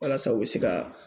Walasa u bɛ se ka